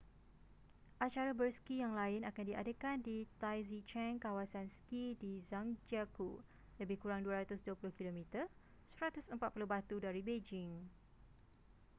acara berski yang lain akan diadakan di taizicheng kawasan ski di zhangjiakou lebih kurang 220 km 140 batu dari beijing